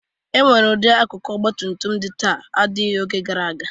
E nwere ụdị akụkụ ọgbatutum dị taa adịghị n'oge gara aga.